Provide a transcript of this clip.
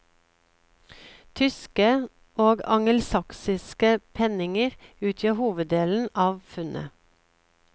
Tyske og angelsaksiske penninger utgjør hoveddelen av funnet.